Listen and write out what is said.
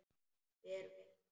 Hver veit?